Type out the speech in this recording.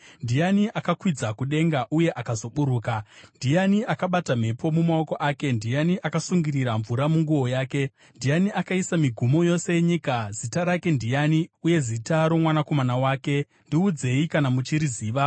Ndiani akakwidza kudenga uye akazoburuka? Ndiani akabata mhepo mumaoko ake? Ndiani akasungirira mvura munguo yake? Ndiani akaisa migumo yose yenyika? Zita rake ndiani, uye nezita romwanakomana wake? Ndiudzei kana muchiriziva!